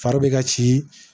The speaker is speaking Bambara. Fari bɛ ka ci